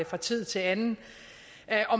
fra tid til anden